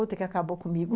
Outra que acabou comigo.